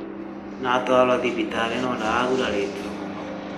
Nĩ atwarwo thibitarĩ no ndagurarĩtio mũno